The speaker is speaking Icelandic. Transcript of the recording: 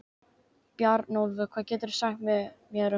Bjarnólfur, hvað geturðu sagt mér um veðrið?